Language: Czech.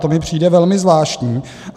To mi přijde velmi zvláštní.